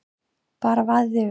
Bara vaðið yfir.